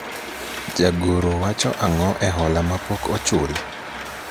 jagoro wacho ang'o ewi hola mapok ochul ?